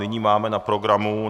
Nyní máme na programu